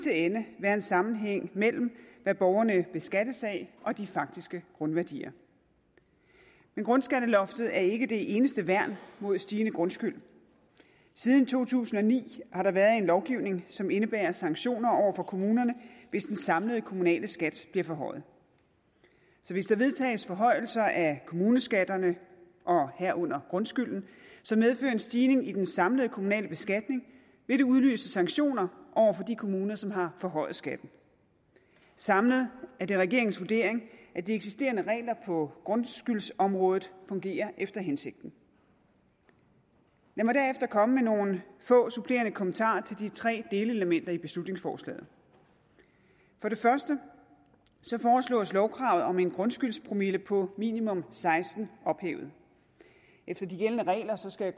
ende være en sammenhæng mellem hvad borgerne beskattes af og de faktiske grundværdier men grundskatteloftet er ikke det eneste værn mod stigende grundskyld siden to tusind og ni har der været en lovgivning som indebærer sanktioner over for kommunerne hvis den samlede kommunale skat bliver forhøjet så hvis der vedtages forhøjelser af kommuneskatterne herunder grundskylden som medfører en stigning i den samlede kommunale beskatning vil det udløse sanktioner over for de kommuner som har forhøjet skatten samlet er det regeringens vurdering at de eksisterende regler på grundskyldsområdet fungerer efter hensigten lad mig derefter komme med nogle få supplerende kommentarer til de tre delelementer i beslutningsforslaget for det første foreslås lovkravet om en grundskyldspromille på minimum seksten ophævet efter de gældende regler skal